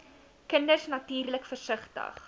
kinders natuurlik versigtig